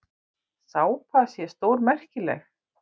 Sápa sé stórmerkileg.